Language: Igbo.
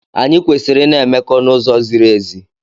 Anyị kwesịrị ị na-emekọ n'uzo ziri ezi.